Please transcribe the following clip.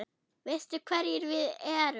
Veistu hverjir við erum?